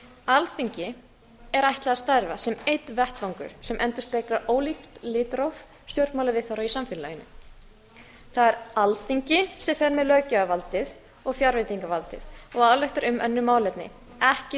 alþingi er ætlað að starfa sem einn vettvangur sem endurspeglar ólíkt litróf stjórnmálaviðhorfa í samfélaginu það er alþingi sem fer með löggjafarvaldið og fjárveitingavaldið og ályktar um önnur málefni ekki